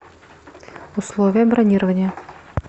условия бронирования